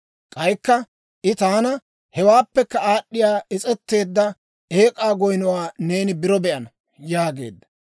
K'aykka I taana, «Hewaappekka aad'd'iyaa is's'eteedda ek'k'aa goynnuwaa neeni biro be'ana» yaageedda.